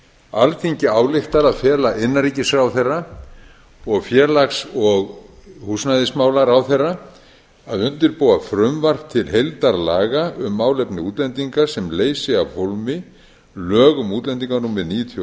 alþingi ályktar að fela innanríkisráðherra og félags og húsnæðismálaráðherra að undirbúa frumvarp til heildarlaga um málefni útlendinga sem leysi af hólmi lög um útlendinga númer níutíu og